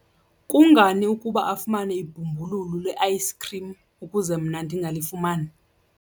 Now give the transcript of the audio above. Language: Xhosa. Kungani ukuba afumane ibhumbululu le-ayisikhrim ukuze mna ndingalifumani?